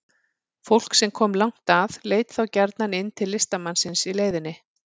Fólk sem kom langt að leit þá gjarnan inn til listamannsins í leiðinni.